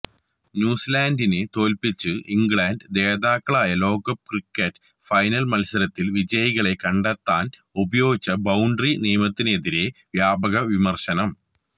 ന്യൂസിലാന്ഡിനെ തോല്പിച്ച് ഇംഗ്ലണ്ട് ജേതാക്കളായ ലോകകപ്പ് ക്രിക്കറ്റ് ഫൈനല് മത്സരത്തില് വിജയികളെ കണ്ടെത്താന് ഉപയോഗിച്ച ബൌണ്ടറി നിയമത്തിനെതിരേ വ്യാപക വിമര്ശനം